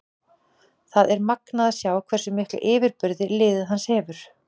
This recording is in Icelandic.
Það er magnað að sjá hversu mikla yfirburði liðið hans hefur.